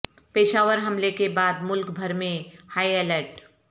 پشاور حملہ کے بعد ملک بھر میں ہائی الرٹ